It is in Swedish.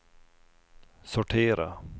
sortera